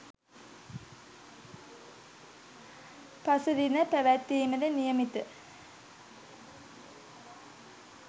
පසුදින පැවැත්වීමට නියමිත